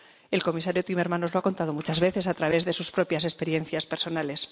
El comisario Timmermans nos lo ha contado muchas veces a través de sus propias experiencias personales.